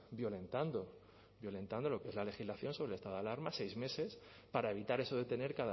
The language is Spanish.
violentando violentando lo que es la legislación sobre el estado de alarma seis meses para evitar eso de tener